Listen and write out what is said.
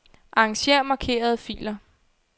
Arranger markerede filer.